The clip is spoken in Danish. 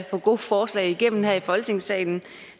få gode forslag igennem her i folketingssalen